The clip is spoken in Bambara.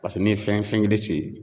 Paseke n'i ye fɛn fɛn kelen